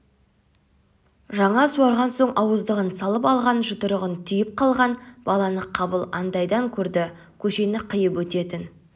жаңа суарған соң ауыздығын салып алған жұдырығын түйіп қалған баланы қабыл анадайдан көрді көшені қиып өтетін